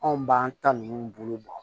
Anw b'an ta ninnu bolo bɔ